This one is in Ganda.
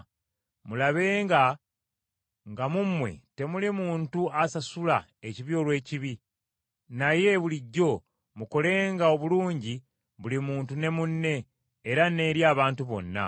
Mulabenga nga mu mmwe temuli muntu asasula ekibi olw’ekibi, naye bulijjo mukolenga obulungi buli muntu ne munne, era n’eri abantu bonna.